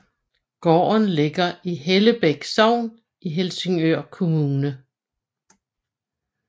Gården ligger i Hellebæk Sogn i Helsingør Kommune